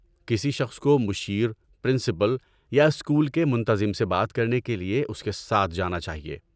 کسی شخص کو مشیر، پرنسپل، یا اسکول کے منتظم سے بات کرنے کے لیے اس کے ساتھ جانا چاہیے۔